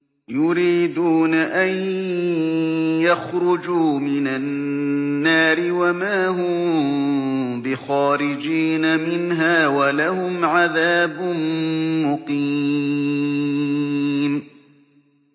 يُرِيدُونَ أَن يَخْرُجُوا مِنَ النَّارِ وَمَا هُم بِخَارِجِينَ مِنْهَا ۖ وَلَهُمْ عَذَابٌ مُّقِيمٌ